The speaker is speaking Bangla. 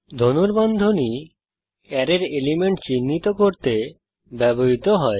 ধনুর্বন্ধনী অ্যারের এলিমেন্ট চিহ্নিত করতে ব্যবহৃত হয়